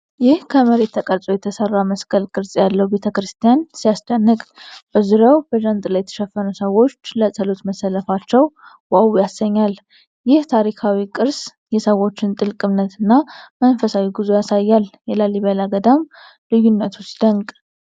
ይህ ከመሬት ተቀርጾ የተሰራ መስቀል ቅርፅ ያለው ቤተ-ክርስቲያን ሲያስደንቅ! በዙሪያው በጃንጥላ የተሸፈኑ ሰዎች ለጸሎት መሰለፋቸው 'ዋው' ያሰኛል። ይህ ታሪካዊ ቅርስ የሰዎችን ጥልቅ እምነት እና መንፈሳዊ ጉዞ ያሳያል። የላሊበላ ገዳም ልዩነቱ ሲደንቅ!